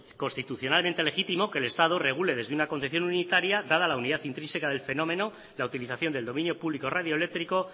constitucionalmente legitimo que el estado regule desde una concesión unitaria dada la unidad intrínseca del fenómeno la utilización del dominio público radioeléctrico